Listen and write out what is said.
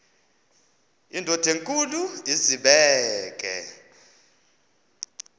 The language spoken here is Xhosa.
indod enkulu izibeke